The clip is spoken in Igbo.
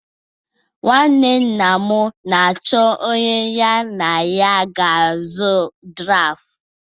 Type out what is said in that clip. Nnwanne nna m nnwoke na-achọ onye ya na ya ga-azụ draftụ